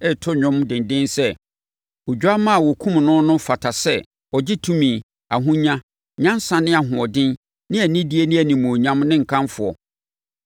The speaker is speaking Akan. reto dwom denden sɛ, “Odwammaa a wɔkumm no no fata sɛ ɔgye tumi, ahonya, nyansa ne ahoɔden ne anidie ne animuonyam ne nkamfoɔ!”